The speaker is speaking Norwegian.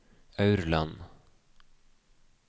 Aurland